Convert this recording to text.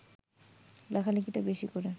লেখালেখিটা বেশি করে